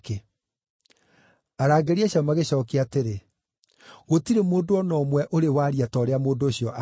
Arangĩri acio magĩcookia atĩrĩ, “Gũtirĩ mũndũ o na ũmwe ũrĩ waria ta ũrĩa mũndũ ũcio aragia.”